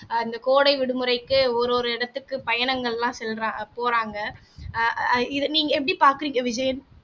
ஆஹ் இந்த கோடை விடுமுறைக்கு ஒரு ஒரு இடத்துக்கு பயணங்களெல்லாம் செல்றா போறாங்க ஆஹ் இதை நீங்க எப்படி பாக்குறீங்க விஜயன்